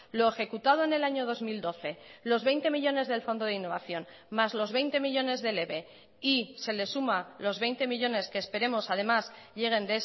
lo ejecutado en el año dos mil doce los veinte millónes del fondo de innovación más los veinte millónes del eve y se le suma los veinte millónes que esperemos además lleguen